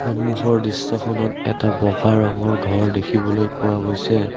সন্মুখৰ দৃশ্যখনত এটা বগা ৰঙৰ ঘৰ দেখিবলৈ পোৱা গৈছে।